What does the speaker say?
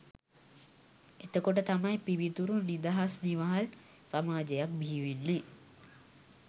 එතකොට තමයි පිවිතුරු නිදහස් නිවහල් සමාජයක් බිහිවෙන්නේ